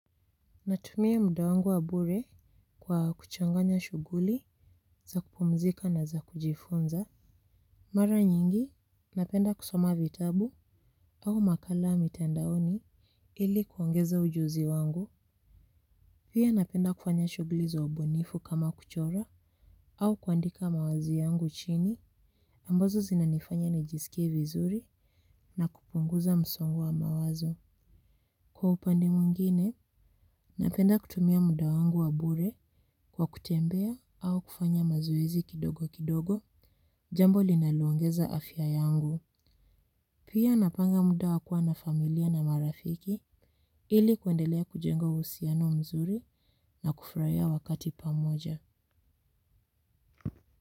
Natumia muda wangu wa bure kwa kuchanganya shughuli za kupumzika na za kujifunza. Mara nyingi, napenda kusoma vitabu au makala mitndaoni ili kuongeza ujuzi wangu. Pia napenda kufanya shughuli za ubunifu kama kuchora au kuandika mawazo yangu chini ambazo zinanifanya nijisikie vizuri na kupunguza msongo wa mawazo. Kwa upande mwingine, napenda kutumia muda wangu wa bure kwa kutembea au kufanya mazoezi kidogo kidogo jambo linaloongeza afya yangu. Pia napanga muda wa kuwa na familia na marafiki ili kuendelea kujengo uhusiano mzuri na kufurahia wakati pamoja.